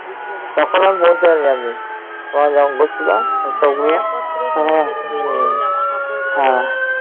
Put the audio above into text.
তখনও পৌঁছায়নি আমি ওরা যখন করছিলো সবগুলো